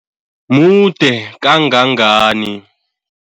Mude kangangani?